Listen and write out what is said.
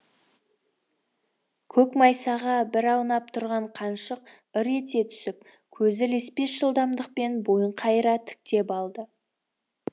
көк майсаға бір аунап тұрған қаншық ыр ете түсіп көзі леспес жылдамдықпен бойын қайыра тіктеп алды